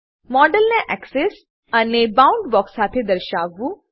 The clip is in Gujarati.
મોડેલને એક્સેસ એક્સેસ અને બાઉન્ડબોક્સ બાઉન્ડબોક્સ સાથે દર્શાવવું